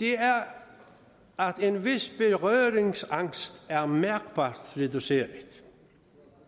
det er at en vis berøringsangst er mærkbart reduceret